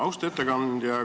Austatud ettekandja!